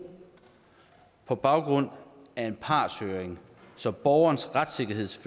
på baggrund af en partshøring så borgernes retsfølelse